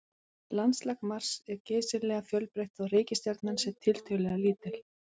Landslag Mars er geysilega fjölbreytt þótt reikistjarnan sé tiltölulega lítil.